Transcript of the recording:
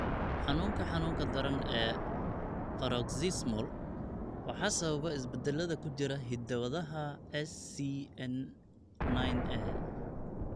Xanuunka xanuunka daran ee Paroxysmal waxaa sababa isbeddellada ku jira hidda-wadaha SCN9A.